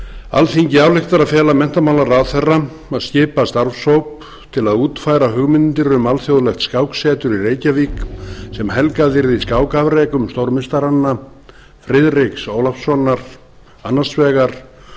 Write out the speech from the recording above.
alþingi ályktar að fela menntamálaráðherra að skipa starfshóp til að útfæra hugmyndir um alþjóðlegt skáksetur í reykjavík sem helgað yrði skákafrekum stórmeistaranna friðriks ólafssonar annars vegar